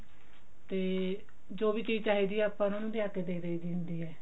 ਤੇ ਜੋ ਵੀ ਚੀਜ਼ ਚਾਹੀਦੀ ਹੈ ਆਪਾਂ ਉਹਨਾਂ ਨੂੰ ਲੇਆ ਕਿ ਦੇ ਦਾਈ ਦੀ ਹੁੰਦੀ ਹੈ